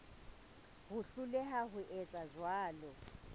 ho hloleha ho etsa jwalo